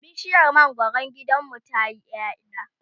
bishiyar mangwaron gidanmu tayi ƴaƴa